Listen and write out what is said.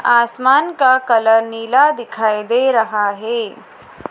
आसमान का कलर नीला दिखाई दे रहा हैं।